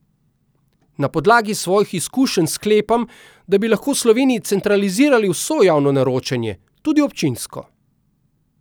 Na podlagi svojih izkušenj sklepam, da bi lahko v Sloveniji centralizirali vso javno naročanje, tudi občinsko.